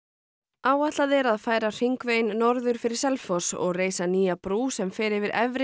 áætlað er að færa hringveginn norður fyrir Selfoss og reisa nýja brú sem fer yfir Efri